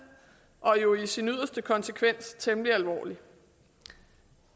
og jo i sin yderste konsekvens temmelig alvorlig